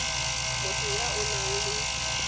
motho ya o nang le